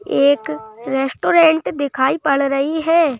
एक रेस्टोरेंट दिखाई पड़ रही है।